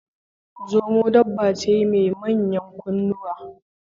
Zomo dabba ce mai manyan kunnuwa.